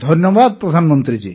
ଧନ୍ୟବାଦ ପ୍ରଧାନମନ୍ତ୍ରୀ ଜୀ